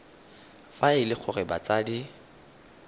fa e le gore batsadi